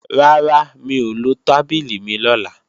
Rárá, mi ò lo tábìlì mi lọ́la